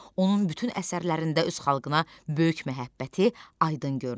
Onun bütün əsərlərində öz xalqına böyük məhəbbəti aydın görünür.